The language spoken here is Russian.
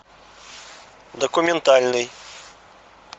документальный